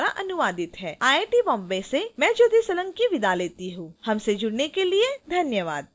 यह स्क्रिप्ट विकास द्वारा अनुवादित है आई आई टी बॉम्बे से मैं ज्योति सोलंकी आपसे विदा लेती हूँ हमसे जुड़ने के लिए धन्यवाद